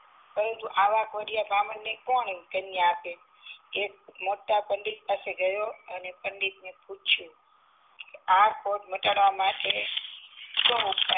પરંતુ આ કોઢિયા બાહ્મણ ને કોણ કન્યા આપે એ મોટા પંડિત પાસે ગયો અને પંડિત ને પૂછિયું આ કોઢ મટાડવા માટે